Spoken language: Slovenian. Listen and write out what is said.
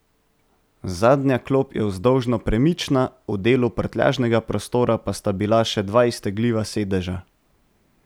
Zadnja klop je vzdolžno premična, v delu prtljažnega prostora pa sta bila še dva iztegljiva sedeža.